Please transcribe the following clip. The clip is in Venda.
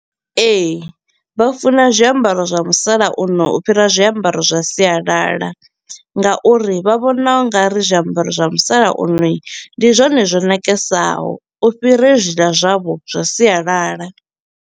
Ee, vha funa zwiambaro zwa musalauno u fhira zwiambaro zwa sialala nga uri vha vhona u nga ri zwiambaro zwa musalauno ndi zwone zwo ṋakesaho u fhira hezwiḽa zwavho zwa sialala.